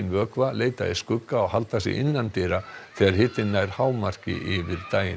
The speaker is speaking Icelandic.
vökva leita í skugga og halda sig innandyra þegar hitinn nær hámarki yfir daginn